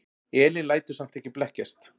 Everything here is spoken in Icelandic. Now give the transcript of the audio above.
Elín lætur samt ekki blekkjast.